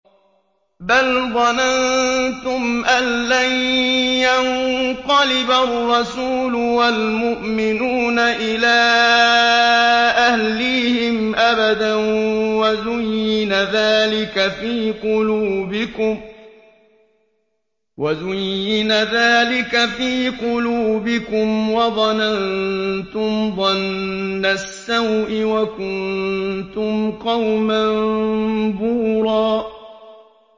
بَلْ ظَنَنتُمْ أَن لَّن يَنقَلِبَ الرَّسُولُ وَالْمُؤْمِنُونَ إِلَىٰ أَهْلِيهِمْ أَبَدًا وَزُيِّنَ ذَٰلِكَ فِي قُلُوبِكُمْ وَظَنَنتُمْ ظَنَّ السَّوْءِ وَكُنتُمْ قَوْمًا بُورًا